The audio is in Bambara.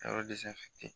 Yɔrɔ